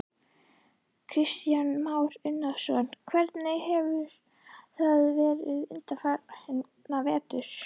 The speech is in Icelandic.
Kristján Már Unnarsson: En hvernig hefur það verið undanfarna vetur?